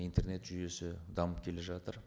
интернет жүйесі дамып келе жатыр